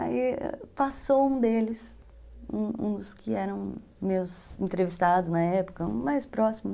Aí passou um deles, um um dos que eram meus entrevistados na época, um mais próximo.